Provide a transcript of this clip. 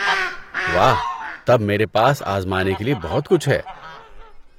واہ، تب میرے پاس آزمانے کے لیے بہت کچھ ہے۔